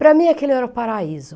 Para mim aquele era o paraíso.